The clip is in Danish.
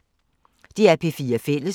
DR P4 Fælles